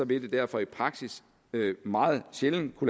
det derfor i praksis meget sjældent på